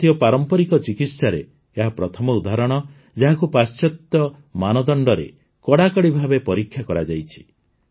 ଭାରତୀୟ ପାରମ୍ପରିକ ଚିକିତ୍ସାରେ ଏହା ପ୍ରଥମ ଉଦାହରଣ ଯାହାକୁ ପାଶ୍ଚାତ୍ୟ ମାନଦଣ୍ଡରେ କଡାକଡି ଭାବେ ପରୀକ୍ଷା କରାଯାଇଛି